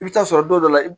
I bɛ taa sɔrɔ dɔw la